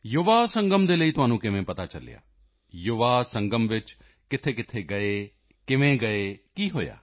ਯੁਵਾ ਸੰਗਮ ਦੇ ਲਈ ਤੁਹਾਨੂੰ ਪਤਾ ਕਿਵੇਂ ਚਲਿਆ ਯੁਵਾ ਸੰਗਮ ਵਿੱਚ ਗਏ ਕਿੱਥੇ ਕਿਵੇਂ ਗਏ ਕੀ ਹੋਇਆ